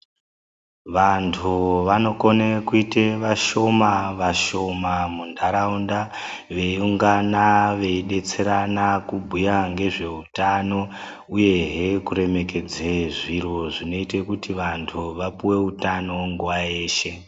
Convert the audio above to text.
Vantu vanokone kuite vashoma vashoma muntaraunda veirongana veidetserana kubhuya ngezveutano uyehe kuremekedze zviro zvinoite kuti vantu vapuwe utano nguva yeshe.